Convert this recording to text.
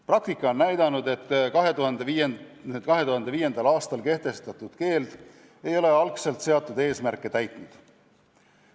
Praktika on näidanud, et 2005. aastal kehtestatud keeld ei ole algselt seatud eesmärke täitnud.